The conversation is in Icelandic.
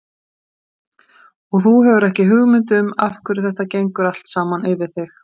Og þú hefur ekki hugmynd um af hverju þetta gengur allt saman yfir þig.